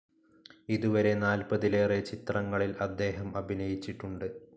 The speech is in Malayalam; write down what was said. ഇതുവരെ നാല്പതിലേറെ ചിത്രങ്ങളിൽ അദ്ദേഹം അഭിനയിച്ചിട്ടുണ്ട്.